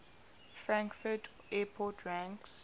frankfurt airport ranks